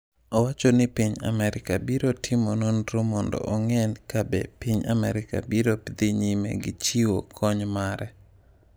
Owacho ni piny Amerka biro timo nonro mondo ong’e ka be piny Amerka biro dhi nyime gi chiwo kony mare.